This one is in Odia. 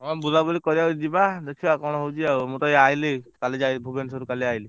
ହଁ ବୁଲା ବୁଲି କରିଆକୁ ଯିବା ଦେଖିଆ କଣ ହଉଛି ଆଉ, ମୁଁ ତ ଏଇ ଆଇଲି କାଲି ଯାଇ ଭୁବନେଶ୍ବର ରୁ କାଲି ଆଇଲି।